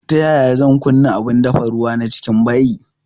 Ta yaya zan kunna abun dafa ruwa na cikin bayi